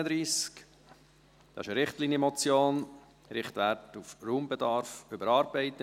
Es ist eine Richtlinienmotion: «Richtwerte auf Raumbedarf überarbeiten».